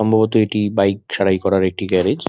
সম্ভবত এটি বাইক সারাই করার একটি গ্যারেজ ।